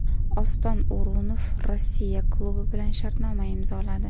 Oston O‘runov Rossiya klubi bilan shartnoma imzoladi.